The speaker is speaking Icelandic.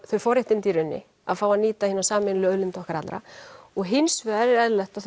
þau forréttindi í rauninni að fá að nýta hina sameiginlegu auðlind okkar allra og hins vegar er eðlilegt að